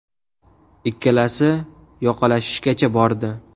Ikkalasi yoqalashishgacha bordi.